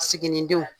Siginidenw